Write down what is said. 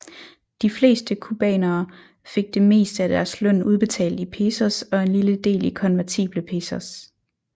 De fleste cubanere fik det meste af deres løn udbetalt i pesos og en lille del i konvertible pesos